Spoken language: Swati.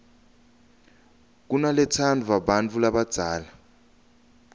kunaletsandvwa bantfu labadzala